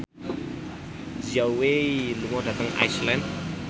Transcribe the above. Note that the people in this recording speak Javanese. Zhao Wei lunga dhateng Iceland